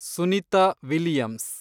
Sunita Williams